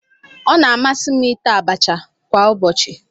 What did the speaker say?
Ọ na-amasị m ita abacha kwa ụbọchị.